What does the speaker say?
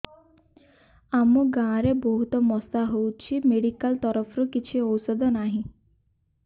ଆମ ଗାଁ ରେ ବହୁତ ମଶା ହଉଚି ମେଡିକାଲ ତରଫରୁ କିଛି ଔଷଧ ନାହିଁ